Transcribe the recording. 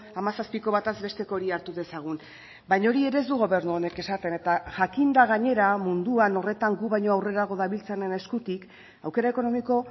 hamazazpiko batez besteko hori hartu dezagun baina hori ere ez du gobernu honek esaten eta jakinda gainera munduan horretan gu baino aurrerago dabiltzanen eskutik aukera ekonomiko